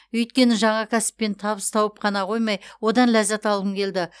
өйткені жаңа кәсіппен табыс тауып қана қоймай одан ләззат алғым келді